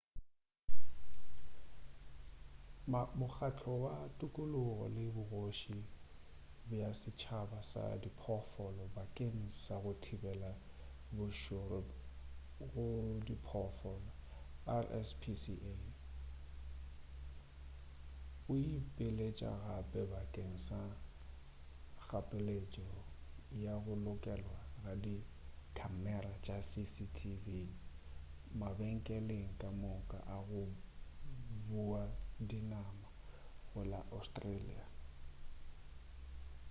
mokgahlo wa thokologo le bogoši bja setšaba sa diphoofolo bakeng sa go thibela bošoro go diphoofolo rspca o ipiletša gape bakeng sa kgapeletšo ya go lokelwa ga di khamera tša cctv mabenkeleng ka moka a go bua dinama go la australia